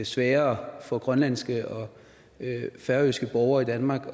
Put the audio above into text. sværere for grønlandske og færøske borgere i danmark